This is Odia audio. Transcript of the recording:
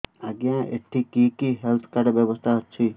ଆଜ୍ଞା ଏଠି କି କି ହେଲ୍ଥ କାର୍ଡ ବ୍ୟବସ୍ଥା ଅଛି